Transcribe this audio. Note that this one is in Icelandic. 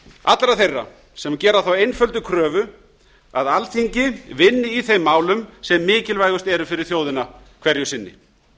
allra þeirra sem gera þá einföldu kröfu að alþingi vinni í þeim málum sem mikilvægust eru fyrir þjóðina hverju sinni